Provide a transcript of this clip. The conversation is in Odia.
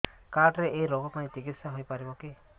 କାର୍ଡ ରେ ଏଇ ରୋଗ ପାଇଁ ଚିକିତ୍ସା ହେଇପାରିବ କି